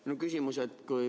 Mul on küsimus.